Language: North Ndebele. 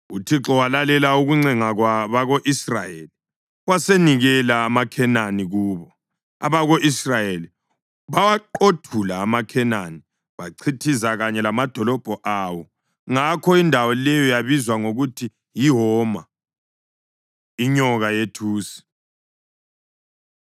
UThixo walalela ukuncenga kwabako-Israyeli wasenikela amaKhenani kubo. Abako-Israyeli bawaqothula amaKhenani bachithiza kanye lamadolobho awo; ngakho indawo leyo yabizwa ngokuthi yiHoma. Inyoka Yethusi